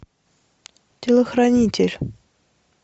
телохранитель